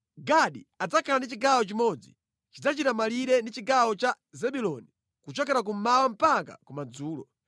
“Gadi adzakhala ndi chigawo chimodzi. Chidzachita malire ndi chigawo cha Zebuloni kuchokera kummawa mpaka kumadzulo.